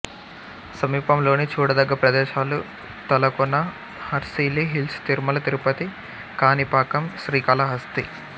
సమీపంలోని చూడదగ్గ ప్రదేశాలు తలకోన హార్సిలీ హిల్స్ తిరుమల తిరుపతి కాణిపాకం శ్రీకాళహస్తి